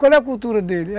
Qual é a cultura dele?